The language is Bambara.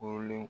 Wololen